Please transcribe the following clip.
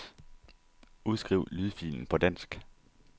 Udskriv lydfilen på dansk.